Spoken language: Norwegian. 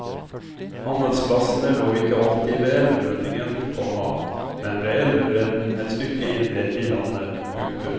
Handelsplassene lå ikke alltid ved elvemunningen, komma men ved elvebredden et stykke inne i landet. punktum